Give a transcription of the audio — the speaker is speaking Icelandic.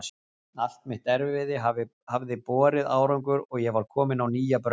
Allt mitt erfiði hafði borið árangur og ég var komin á nýja braut.